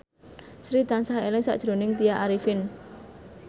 Sri tansah eling sakjroning Tya Arifin